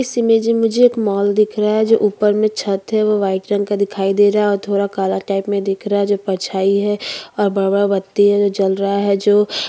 इस इमेज में मुझे एक मॉल दिख रहा है जो ऊपर में छत है वो व्हाइट रंग का दिखाई दे रहा है और थोड़ा काला टाइप में दिख रहा है जो परछाईं है और बड़ा-बड़ा है जो जल रहा है जो--